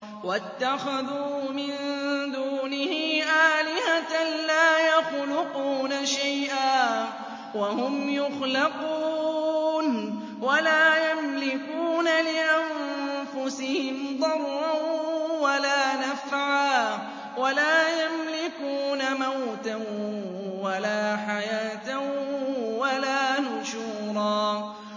وَاتَّخَذُوا مِن دُونِهِ آلِهَةً لَّا يَخْلُقُونَ شَيْئًا وَهُمْ يُخْلَقُونَ وَلَا يَمْلِكُونَ لِأَنفُسِهِمْ ضَرًّا وَلَا نَفْعًا وَلَا يَمْلِكُونَ مَوْتًا وَلَا حَيَاةً وَلَا نُشُورًا